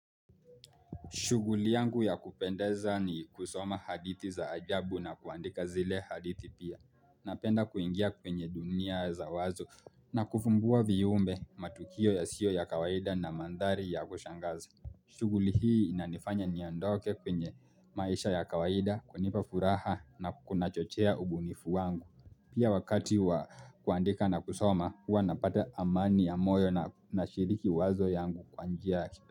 Shuguli yangu ya kupendeza ni kusoma hadithi za ajabu na kuandika zile hadithi pia. Napenda kuingia kwenye dunia za wazo na kufumbua viumbe matukio yasiyo ya kawaida na mandhari ya kushangaza. Shughuli hii inanifanya niondoke kwenye maisha ya kawaida, kunipa furaha na kuna chochea ubunifu wangu. Pia wakati wa kuandika na kusoma, huwa napata amani ya moyo na shiriki wazo yangu kwa njia ya.